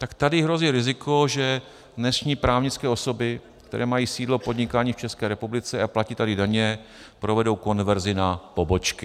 Tak tady hrozí riziko, že dnešní právnické osoby, které mají sídlo podnikání v České republice a platí tady daně, provedou konverzi na pobočky.